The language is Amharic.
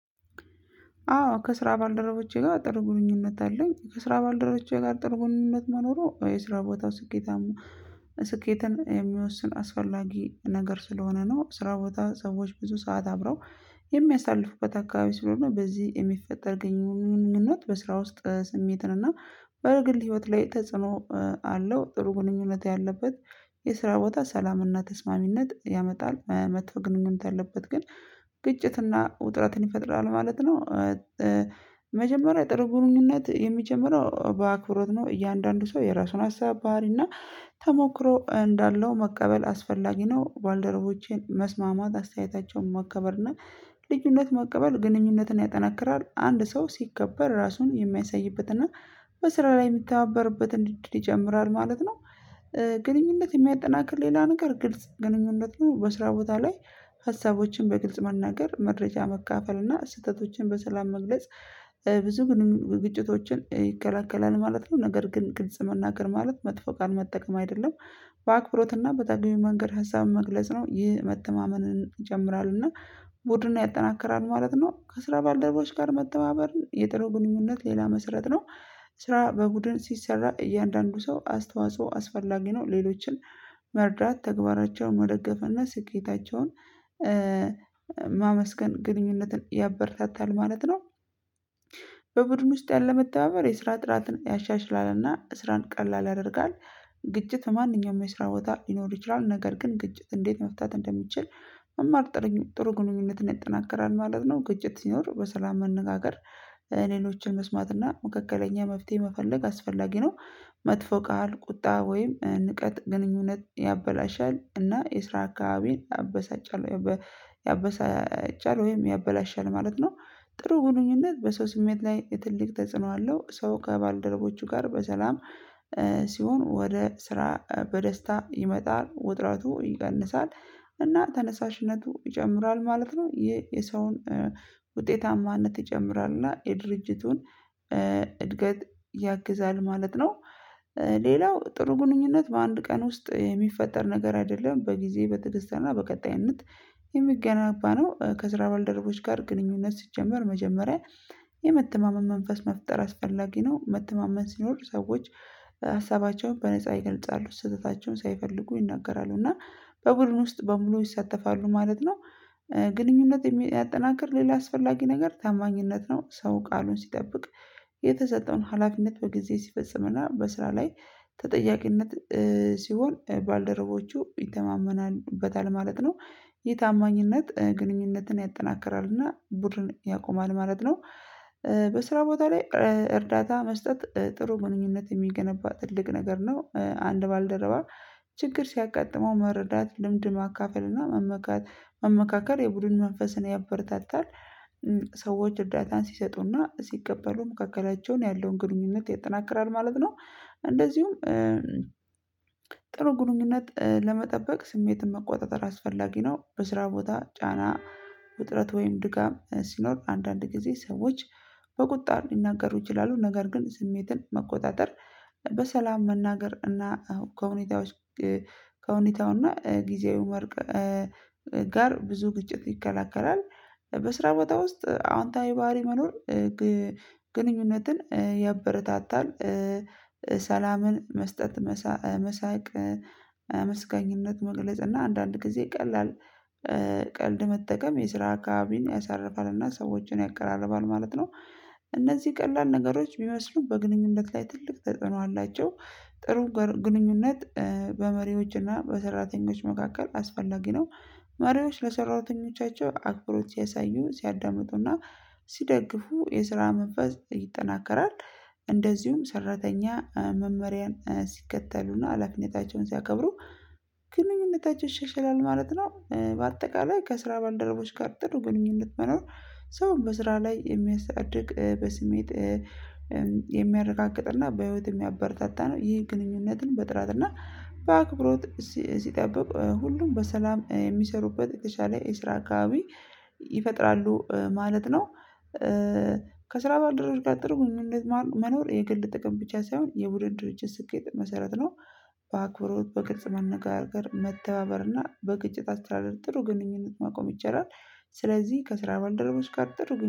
አዎ ከስራ ባልደረቦቼ ጋር ጥሩ ግኝኙነት አለኝ ከስራ ባልደረቦቼ ጋር ጥሩ ግኝኙነት መኖሩ የስራ ቦታው ስኬታማ ስኬትን የሚወስን አስፈላጊ ነገር ስለሆነ ነው። ስራ ቦታ ሰዎች ብዙ ሰዓት አብረው የሚያሳልፉበት አካባቢ ስለሆነ በዚህ የሚፈጠር ግንኙነት በስራ ውስጥ ስሜትን እና በግል ህይወት ላይ ተጽዕኖ አለው። ጥሩ ግንኙነት ያለበት የስራ ቦታ ሰላምና ተስማሚነት ያመጣል። መጥፎ ግንኙነት ያለበት ግን ግጭትና ውጥረትን ይፈጥራል ማለት ነው። መጀመሪያ ጥሩ ግንኙነት የሚጀምረው በአክብሮት ነው እያንዳንዱ ሰው የራሱን ሀሳብ ባህሪ እና ተሞክሮ እንዳለው መቀበል አስፈላጊ ነው። ባልደረቦቼን መስማማት አስተያየታቸውን መከበር እና ልዩነት መቀበል ግንኙነትን ያጠናክራል። አንድ ሰው ሲከበር ራሱን የሚያሳይበት እና በስራ ላይ የሚተባበርበትን እድል ይጨምራል ማለት ነው። ግንኙነት የሚያጠናክር ሌላ ነገር ግልጽ ግንኙነቱን በስራ ቦታ ላይ ሀሳቦችን በግልጽ መናገር መረጃ መካፈል እና ስህተቶችን በሰላም መግለጽ ብዙ ግጭቶችን ይከላከላል ማለት ነው። ነገር ግን ግልጽ መናገር ማለት መጥፎ ቃል መጠቀም አይደለም። በአክብሮትና በተገቢው መንገድ ሀሳብ መግለጽ ነው ይህ መተማመንን ይጨምራልና ቡድን ያጠናክራል ማለት ነው። ከስራ ባልደረቦች ጋር መተባበር የጥሩ ግንኙነት ሌላ መስረት ነው። ስራ በቡድን ሲሰራ እያንዳንዱ ሰው አስተዋጽኦ አስፈላጊ ነው። ሌሎችን መርዳት ተግባራቸውን ወደገፈና ስኬታቸውን ማመስገን ግንኙነትን ያበረታታል ማለት ነው። በቡድን ውስጥ ያለ መተባበር የስራ ጥራትን ያሻሽላልና ስራን ቀላል ያደርጋል። ግጭት ማንኛውም መስራት ቦታ ሊኖር ይችላል ነገር ግን ግጭት እንዴት መፍታት እንደሚችል? መማር ጥሩ ግንኙነትን ይጠናከራል ማለት ነው። ግጭት ሲኖር በሰላም መነጋገር ሌሎችን መስማት እና መካከለኛ መፍትሄ መፈለግ አስፈላጊ ነው። መጥፎ ቃል ቁጣ ወይም ንቀት ግንኙነት ያበላሻል እና የስራ አካባቢን ያበሳጫል። ያበሳጫል ወይም ያበላሻል ማለት ነው። ጥሩ ግንኙነት በሰው ስሜት ላይ ትልቅ ተጽዕኖ አለው። ሰው ከባልደረቦቹ ጋር በሰላም ሲሆን ወደ ስራ በደስታ ይመጣል ውጥረቱ ይቀንሳል እና ተነሳሽነቱ ይጨምራል ማለት ነው። የሰውን ውጤታማነት ይጨምራል እና የድርጅቱን እድገት ያግዛል ማለት ነው። ሌላው ጥሩ ግንኙነት በአንድ ቀን ውስጥ የሚፈጠር ነገር አይደለም በጊዜ በትዕግስትና በቀጣይነት የሚገነባ ነው። ከስራ ባልደረቦች ጋር ግንኙነት ሲጀመር መጀመሪያ የመተማመን መንፈስ መፍጠር አስፈላጊ ነው። መተማመን ሲኖሩ ሰዎች ሀሳባቸውን በነፃ ይገልጻሉ ስህተታቸውን ሳይፈልጉ ይናገራሉ እና በቡድን ውስጥ በሙሉ ይሳተፋሉ ማለት ነው። ግንኙነት የሚያጠናክር ሌላ አስፈላጊ ነገር ታማኝነት ነው። ሰው ቃሉን ሲጠብቅ የተሰጠውን ሀላፊነት በጊዜ ሲፈጽምና በስራ ላይ ተጠያቂነት ሲሆን ባልደረቦቹ ይተማመኑበታል ማለት ነው። የታማኝነት ግንኙነትን ያጠናክራል እና ቡድን ያቆማል ማለት ነው። በስራ ቦታ ላይ እርዳታ መስጠት ጥሩ ግንኙነት የሚገነባ ትልቅ ነገር ነው። አንድ ባልደረባ ችግር ሲያጋጥመው መረዳት ልምድን ማካፈል እና መመካከል የቡድን መንፈስን ያበረታታል። ሰዎች እርዳታን ሲሰጡና ሲቀበሉ መካከላቸውን ያለውን ግንኙነት ያጠናክራል ማለት ነው። እንደዚሁም ጥሩ ግንኙነት ለመጠበቅ ስሜትን መቆጣጠር አስፈላጊ ነው። በስራ ቦታ ጫና ውጥረት ወይም ድካም ሲኖር አንዳንድ ጊዜ ሰዎች በቁጣ ሊናገሩ ይችላሉ ነገር ግን ስሜትን መቆጣጠር በሰላም መናገር እና ከሁኔታው ከሁኔታው እና ጊዜያዊ ጋር ብዙ ግጭት ይከላከላል። በስራ ቦታ ውስጥ አዎንታዊ ባህሪ መኖር ግንኙነትን ያበረታታል። ሰላምን መስጠት መሳቅ አመስጋኝነት መግለጽ እና አንዳንድ ጊዜ ቀላል ቀልድ መጠቀም የስራ አካባቢን ያሳርፋል እና ሰዎችን ያቀራርባል ማለት ነው። እነዚህ ቀላል ነገሮች ቢመስሉ በግንኙነት ላይ ትልቅ ተጽዕኖ አላቸው። ጥሩ ግንኙነት በመሪዎችና በሰራተኞች መካከል አስፈላጊ ነው። መሪዎች ለሰራተኞቻቸው አክብሮት ሲያሳዩ ሲያዳምጡና ሲደግፉ የስራ መንፈስ ይጠናከራል። እንደዚሁም ሰራተኛ መመሪያን ሲከተሉና አላፊነታቸውን ሲያከብሩ ግንኙነታቸው ይሻሻላል ማለት ነው። በአጠቃላይ ከስራ ባልደረቦች ጋር ጥሩ ግንኙነት መኖር ሰው በስራ ላይ የሚያሳድግ በስሜት የሚያረጋግጥና በህይወት የሚያበረታታ ነው። ይህን ግንኙነትን በጥራትና እና በአክብሮት ሲጠብቅ ሁሉም በሰላም የሚሰሩበት የተሻለ የስራ አካባቢ ይፈጥራሉ ማለት ነው። ከስራ ባልደረባ ጋር ጥሩ ግንኙነት መኖር የግል ጥቅም ብቻ ሳይሆን የቡድን ድርጅት ስኬት መሰረት ነው። በአክብሮት በግልጽ መነጋገር መተባበር እና በግጭት አስተዳደር ጥሩ ግንኙነት ማቆም ይቻላል። ስለዚህ ከስራ ባልደረቦች ጋር ጥሩ